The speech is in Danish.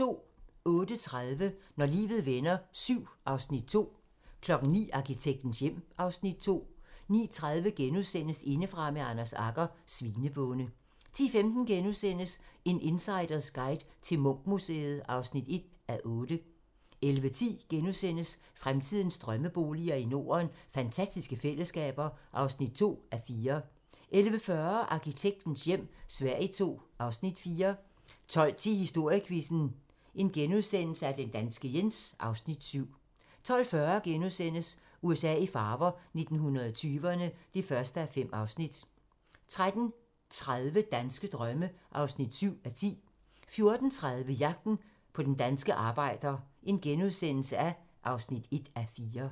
08:30: Når livet vender VII (Afs. 2) 09:00: Arkitektens hjem (Afs. 2) 09:30: Indefra med Anders Agger - Svinebonde * 10:15: En insiders guide til Munch-museet (1:8)* 11:10: Fremtidens drømmeboliger i Norden: Fantastiske fællesskaber (2:4)* 11:40: Arkitektens hjem - Sverige II (Afs. 4) 12:10: Historiequizzen: Den danske Jens (Afs. 7)* 12:40: USA i farver - 1920'erne (1:5)* 13:30: Danske drømme (7:10) 14:30: Jagten på den danske arbejder (1:4)*